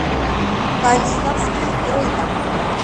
калиновский рынок